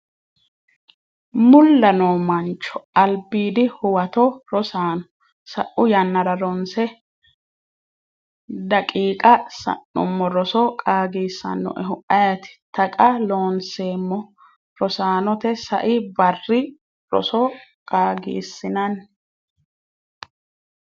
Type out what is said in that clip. mulla noo mancho Albiidi Huwato Rosaano sa’u yannara ronse daqiiqa sa’nummo roso qaagisannoehu ayeeti? Taqa Loonseemmo Rosaanote sai barri roso qaagisinsa.